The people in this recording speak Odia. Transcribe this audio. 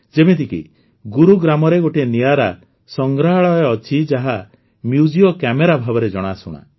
ଯେମିତିକି ଗୁରୁଗ୍ରାମ୍ରେ ଗୋଟିଏ ନିଆରା ସଂଗ୍ରହାଳୟ ଅଛି ଯାହା ମ୍ୟୁଜିଓ କାମେରା ଭାବରେ ଜଣାଶୁଣା